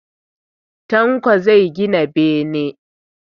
Tanko zai gina bene